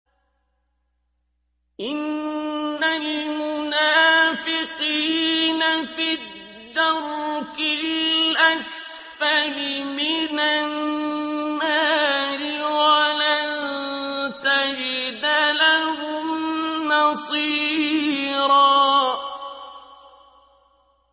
إِنَّ الْمُنَافِقِينَ فِي الدَّرْكِ الْأَسْفَلِ مِنَ النَّارِ وَلَن تَجِدَ لَهُمْ نَصِيرًا